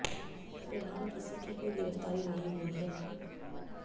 फिलहाल किसी की कोई गिरफ्तारी नहीं हुई है